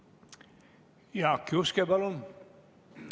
Jaak Juske, palun!